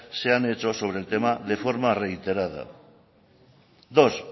se han hecho sobre el tema de forma reiterada dos